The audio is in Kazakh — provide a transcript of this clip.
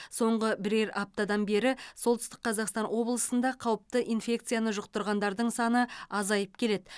соңғы бірер аптадан бері солтүстік қазақстан облысында қауіпті инфекцияны жұқтырғандардың саны азайып келеді